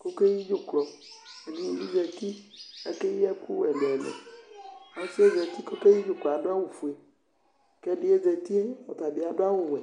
kʋ okeyi dzʋklɔ Ɛdɩnɩ bɩ zǝtɩ kʋ akeyi ɛkʋ ɛlʋ ɛlʋ Ɔsɩ yɛ zǝtɩ kʋ okeyi dzʋklɔ yɛ adʋ awʋfue, kʋ ɛdɩ ye zǝti yɛ, ɔtabɩ adʋ adʋ awʋwɛ